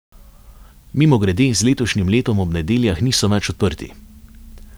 Mimogrede, z letošnjim letom ob nedeljah niso več odprti.